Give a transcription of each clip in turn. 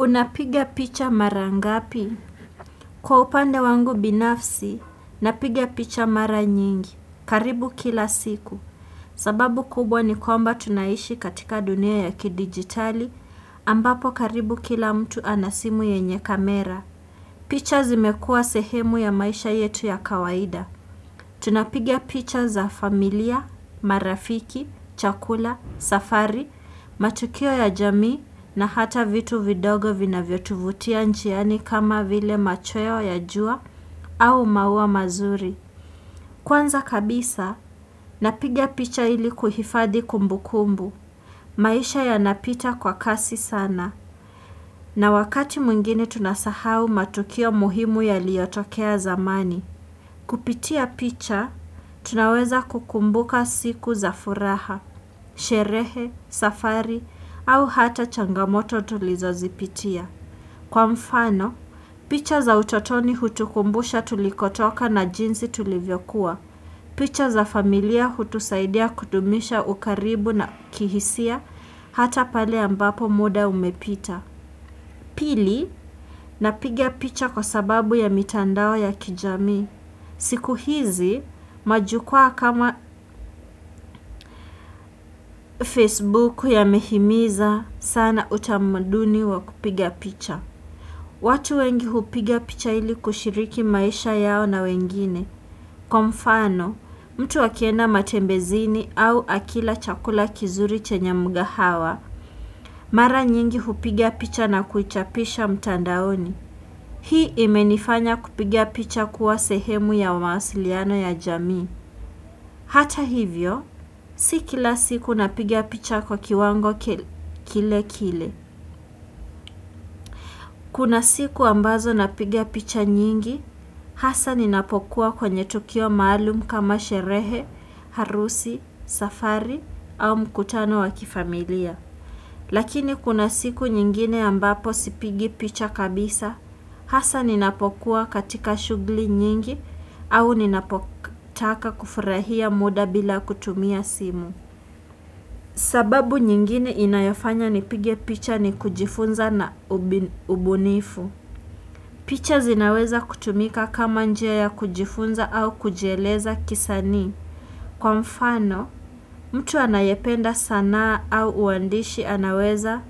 Unapiga picha mara ngapi? Kwa upande wangu binafsi, napigia picha mara nyingi. Karibu kila siku. Sababu kubwa ni kwamba tunaishi katika dunia ya kidigitali, ambapo karibu kila mtu anasimu yenye kamera. Picha zimekua sehemu ya maisha yetu ya kawaida. Tunapiga picha za familia, marafiki, chakula, safari, matukio ya jamii na hata vitu vidogo vina vyotuvutia njiani kama vile machoyo ya jua au maua mazuri. Kwanza kabisa, napiga picha ili kuhifadhi kumbukumbu. Maisha ya napita kwa kasi sana na wakati mwngini tunasahau matukio muhimu ya liyotokea zamani. Kupitia picha, tunaweza kukumbuka siku za furaha, sherehe, safari, au hata changamoto tulizo zipitia. Kwa mfano, picha za utotoni hutukumbusha tulikotoka na jinsi tulivyokuwa. Picha za familia hutusaidia kudumisha ukaribu na kihisia hata pale ambapo muda umepita. Pili, napiga picha kwa sababu ya mitandao ya kijamii. Siku hizi majukua kama Facebook ya mehimiza sana utamuduni wa kupiga picha. Watu wengi hupiga picha ili kushiriki maisha yao na wengine. Kowa mfano, mtu akienda matembezini au akila chakula kizuri chenye mga hawa, mara nyingi kupiga picha na kuichapisha mtandaoni. Hii imenifanya kupiga picha kuwa sehemu ya wamasiliano ya jamii. Hata hivyo, sikila siku napiga picha kwa kiwango kile kile. Kuna siku ambazo napigia picha nyingi, hasa ninapokuwa kwenye tukio maalum kama sherehe, harusi, safari, au mkutano wakifamilia. Lakini kuna siku nyingine ambapo sipigi picha kabisa, hasa ninapokuwa katika shughuli nyingi au ninapotaka kufurahia muda bila kutumia simu. Sababu nyingine inayofanya ni pige picha ni kujifunza na ubunifu. Picha zinaweza kutumika kama njia ya kujifunza au kujieleza kisanii. Kwa mfano, mtu anayependa sanaa au uandishi anaweza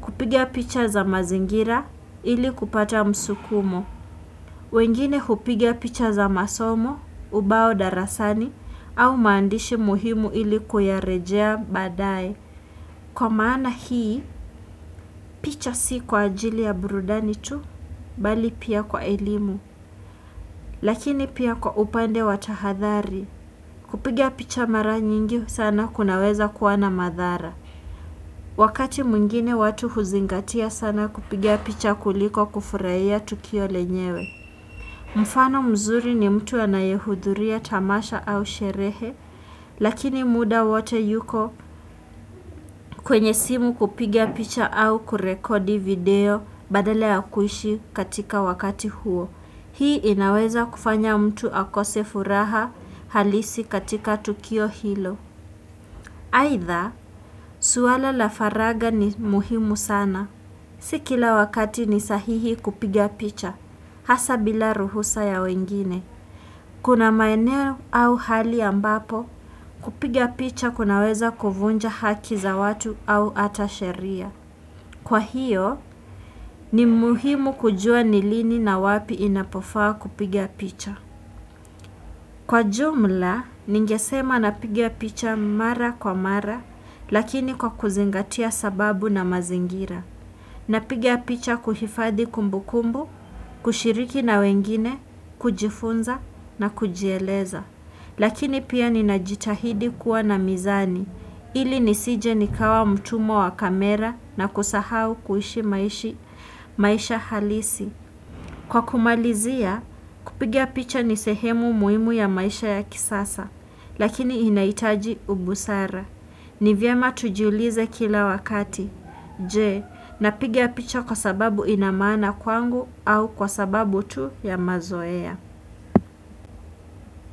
kupiga picha za mazingira ili kupata msukumo. Wengine hupiga picha za masomo, ubao darasani au maandishi muhimu ili kuyarejea baadae. Kwa maana hii, picha si kwa ajili ya burudani tu, bali pia kwa elimu, lakini pia kwa upande watahadhari. Kupiga picha mara nyingi sana kunaweza kuwa na madhara. Wakati mwingine watu huzingatia sana kupiga picha kuliko kufurahia tukio lenyewe. Mfano mzuri ni mtu anayehudhuria tamasha au sherehe, lakini muda wote yuko kwenye simu kupiga picha au kurekodi video badala ya kuishi katika wakati huo. Hii inaweza kufanya mtu akose furaha halisi katika tukio hilo. Aidha, swala la faragha ni muhimu sana. Sikila wakati ni sahihi kupiga picha, hasa bila ruhusa ya wengine. Kuna maeneo au hali ambapo, kupiga picha kunaweza kuvunja haki za watu au hatasheria. Kwa hiyo, ni muhimu kujua nilini na wapi inapofaa kupiga picha. Kwa jumla, ningesema napiga picha mara kwa mara, lakini kwa kuzingatia sababu na mazingira. Napiga picha kuhifadhi kumbukumbu, kushiriki na wengine, kujifunza na kujieleza. Lakini pia ninajitahidi kuwa na mizani, ili nisije nikawa mtumwa wa kamera na kusahau kuishi maisha maisha halisi. Kwa kumalizia, kupiga picha nisehemu muhimu ya maisha ya kisasa, lakini inahitaji ubusara. Nivyema tujiulize kila wakati, je, napiga picha kwa sababu inamaana kwangu au kwa sababu tu ya mazoea?